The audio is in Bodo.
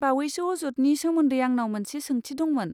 बावैसो अजदनि सोमोन्दै आंनाव मोनसे सोंथि दंमोन।